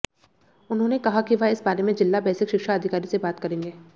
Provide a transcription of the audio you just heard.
उन्होंने कहा कि वह इस बारे में जिला बेसिक शिक्षा अधिकारी से बात करेंगे